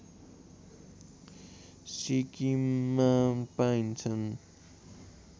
सिक्किममा पाइन्छन्